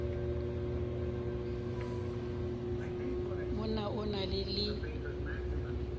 mo na o na le